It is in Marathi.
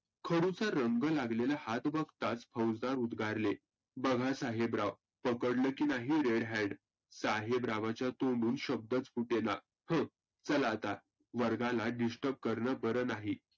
खडुचा रंग लागलेला हात बघताच फौजदार उद्गारले, बघा साहेबराव पकडलंकी नाही red hand साहेबरावांच्या तोंडून शब्दच फुटेना. हं चला आता वर्गाला disturb करण बरं नाही.